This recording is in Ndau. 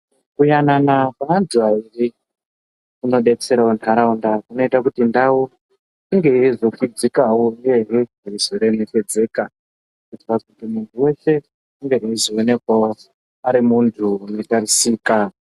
Kuyanana kweantu airi kunodetserawo nharaunda kunoita kuti ndau inge yeizokudzikawo uyehe yeizoremekedzeka kuitira kuti muntu weshe ange eizoonekawo ari muntu unotarisika.